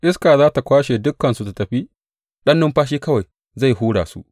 Iska za tă kwashe dukansu tă tafi, ɗan numfashi kawai zai hura su.